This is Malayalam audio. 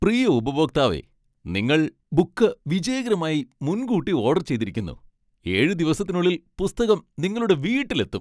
പ്രിയ ഉപഭോക്താവേ! നിങ്ങൾ ബുക്ക് വിജയകരമായി മുൻകൂട്ടി ഓഡർ ചെയ്തിരിക്കുന്നു. ഏഴ് ദിവസത്തിനുള്ളിൽ പുസ്തകം നിങ്ങളുടെ വീട്ടിൽ എത്തും.